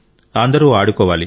అందరూ ఆడుకోవాలి